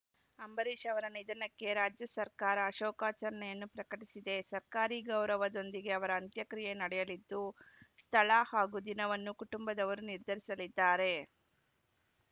ಅಂಬರೀಷ್‌ ಅವರ ನಿಧನಕ್ಕೆ ರಾಜ್ಯ ಸರ್ಕಾರ ಶೋಕಾಚರಣೆಯನ್ನು ಪ್ರಕಟಿಸಿದೆ ಸರ್ಕಾರಿ ಗೌರವದೊಂದಿಗೆ ಅವರ ಅಂತ್ಯಕ್ರಿಯೆ ನಡೆಯಲಿದ್ದು ಸ್ಥಳ ಹಾಗೂ ದಿನವನ್ನು ಕುಟುಂಬದವರು ನಿರ್ಧರಿಸಲಿದ್ದಾರೆ